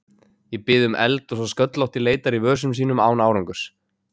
Ég bið um eld og sá sköllótti leitar í vösum sínum án árangurs.